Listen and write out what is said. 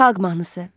Xalq mahnısı.